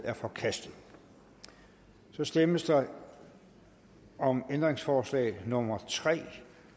er forkastet så stemmes der om ændringsforslag nummer tre